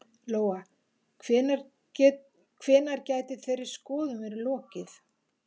Lóa: Hvenær gæti þeirri skoðun verið lokið?